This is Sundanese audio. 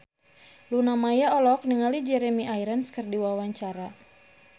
Luna Maya olohok ningali Jeremy Irons keur diwawancara